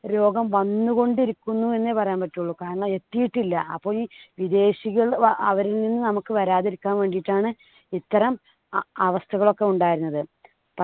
രോഗം വന്നുകൊണ്ടിരിക്കുന്നു എന്നെ പറയാൻ പറ്റുള്ളൂ. കാരണം എത്തിയിട്ടില്ല. അപ്പൊ ഈ വിദേശികൾ ആ അവരിൽ നിന്ന് നമുക്ക് വരാതിരിക്കാൻ വേണ്ടിട്ടാണ് ഇത്തരം അ~ അവസ്ഥകൾ ഒക്കെ ഉണ്ടായിരുന്നത്.